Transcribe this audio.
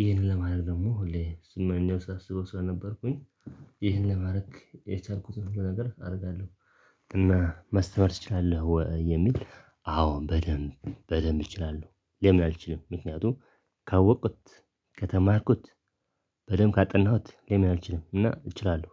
ይሄንን ለማድረግ ደግሞ ሁሌ ስመኘው ሳስበው ስለነበርኩኝ ይህን ለማድረግ የቻልኩትን ሁሉ ነገር አደርጋለሁ። እና ማስተማር ትችላለህ ወይ? የሚል አዎ በደንብ በደንብ እችላለሁ። ለምን አልችልም? ምክንያቱም ካወቅኩት ከተማርኩት በደንብ ካጠናሁት ለምን አልችልም? እና እችላለሁ።